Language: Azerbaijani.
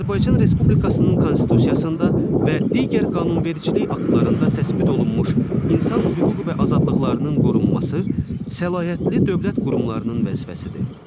Azərbaycan Respublikasının Konstitusiyasında və digər qanunvericilik aktlarında təsbit olunmuş insan hüquq və azadlıqlarının qorunması səlahiyyətli dövlət qurumlarının vəzifəsidir.